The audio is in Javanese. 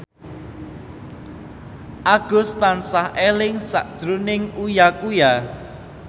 Agus tansah eling sakjroning Uya Kuya